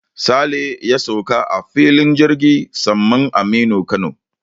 Sale ya sauka a filin jirgin saman Aminu Kano.